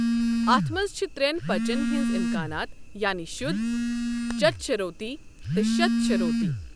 اَتھ منٛز چھِ ترٛٮ۪ن پچَن ہٕنٛز امکانات، یعنی شدھ، چتشروتی، تہٕ شتشروتی۔